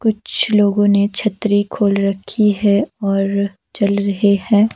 कुछ लोगों ने छतरी खोल रखी है और चल रहे है।